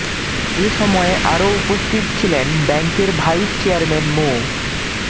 এ সময় আরও উপস্থিত ছিলেন ব্যাংকের ভাইস চেয়ারম্যান মো